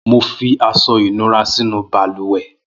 Mò fi aṣọ inúrà sinú bàlùwẹ̀